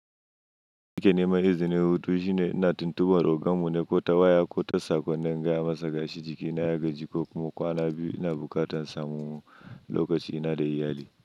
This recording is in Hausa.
Jiki ne mai izinin hutu shine ina tuntubar rogamu na ko tawaya ko ta sakon da in gaya masa gashi jikina ya gaji ko kuma kwana biyu ina bukatan samun lokaci ina da iyali.